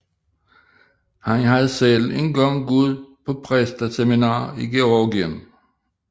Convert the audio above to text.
Han havde selv en gang gået på præsteseminar i Georgien